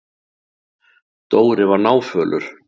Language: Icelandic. Dóri var náfölur.